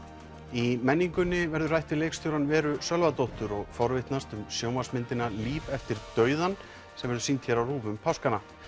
í menningunni verður rætt við leikstjórann Veru Sölvadóttur og forvitnast um sjónvarpsmyndina Líf eftir dauðann sem verður sýnd hér á RÚV um páskana